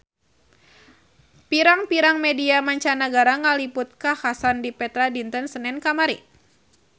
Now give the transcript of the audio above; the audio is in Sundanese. Pirang-pirang media mancanagara ngaliput kakhasan di Petra dinten Senen kamari